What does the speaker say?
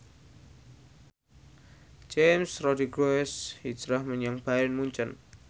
James Rodriguez hijrah menyang Bayern Munchen